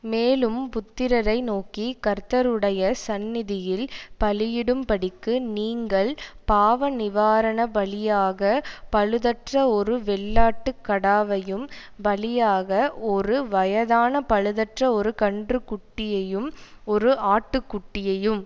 மேலும் புத்திரரை நோக்கி கர்த்தருடைய சந்நிதியில் பலியிடும்படிக்கு நீங்கள் பாவ நிவாரண பலியாகப் பழுதற்ற ஒரு வெள்ளாட்டு கடாவையும் பலியாக ஒரு வயதான பழுதற்ற ஒரு கன்றுக்குட்டியையும் ஒரு ஆட்டுக்குட்டியையும்